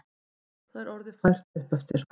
Það er orðið fært uppeftir.